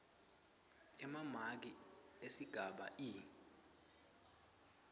emamaki esigaba e